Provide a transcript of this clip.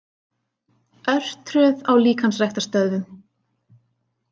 Örtröð á líkamsræktarstöðvum